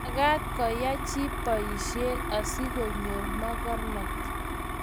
Mekat kuyai chii boisio asikonyoru mokornat.